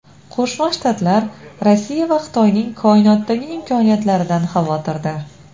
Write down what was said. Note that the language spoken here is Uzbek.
Qo‘shma Shtatlar Rossiya va Xitoyning koinotdagi imkoniyatlaridan xavotirda.